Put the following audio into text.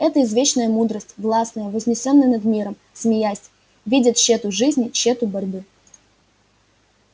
это извечная мудрость властная вознесённая над миром смеялась видя тщёту жизни тщёту борьбы